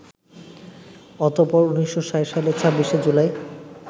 অতঃপর ১৯৬০ সালের ২৬শে জুলাই